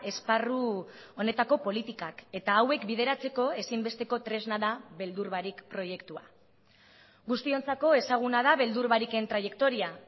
esparru honetako politikak eta hauek bideratzeko ezinbesteko tresna da beldur barik proiektua guztiontzako ezaguna da beldur bariken traiektoria